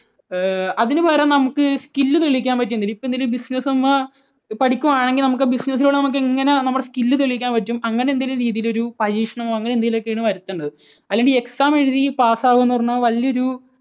ഏഹ് അതിനുപകരം നമുക്ക് skill തെളിയിക്കാൻ പറ്റിയ ഇപ്പോൾ എന്തെങ്കിലും, ഇപ്പോൾ എന്തെങ്കിലും business നമ്മൾ പഠിക്കുകയാണെങ്കിൽ നമുക്ക് business ലൂടെ നമുക്ക് എങ്ങനെ നമ്മുടെ skill തെളിയിക്കാൻ പറ്റും, അങ്ങനെയെന്തെങ്കിലും രീതിയിലൊരു പരീക്ഷണമോ അങ്ങനെയെന്തെങ്കിലും ഒക്കെയാണ് വരുത്തേണ്ടത്. അല്ലാതെ ഈ exam എഴുതി pass ആകുക എന്ന് പറഞ്ഞാൽ വലിയ ഒരു